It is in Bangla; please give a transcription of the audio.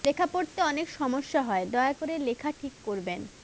লেখা পড়তে অনেক সমস্যা হয় দয়া করে লেখা ঠিক করবেন